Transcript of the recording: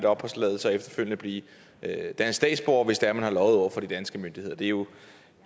opholdstilladelse og efterfølgende blive dansk statsborger hvis man har løjet over for de danske myndigheder det er jo